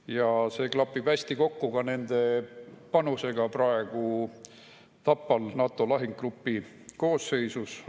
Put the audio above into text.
Ja see klapib hästi kokku ka nende panusega praegu Tapal NATO lahingugrupi koosseisus.